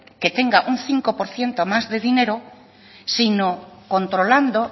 que tenga un cinco por ciento más de dinero sino controlando